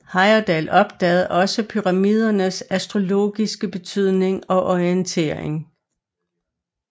Heyerdahl opdagede også pyramidernes astrologiske betydning og orientering